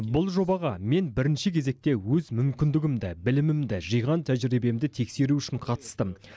бұл жобаға мен бірінші кезекте өз мүмкіндігімді білімімді жиған тәжірибемді тексеру үшін қатыстым